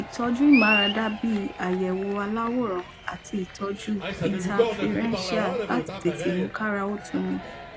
ìtọjú ìmáradá bí i àyẹwò aláwòrán àti ìtọjú ińtafirẹńṣíà láti tètè mú káara ó tuni